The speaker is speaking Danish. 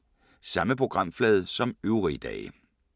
Samme programflade som øvrige dage